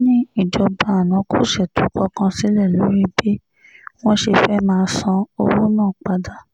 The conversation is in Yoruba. ó ní ìjọba àná kò ṣètò kankan sílẹ̀ lórí bí wọ́n ṣe fẹ́ẹ́ máa san owó náà padà